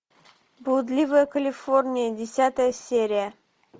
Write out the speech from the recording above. блудливая калифорния десятая серия